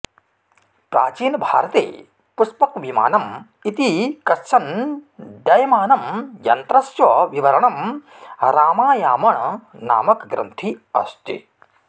प्राचीन भारते पुष्पक विमानम् इति कश्चन् डयमानम् यन्त्रस्य विवरणम् रामायामण नामक ग्रन्थे अस्ति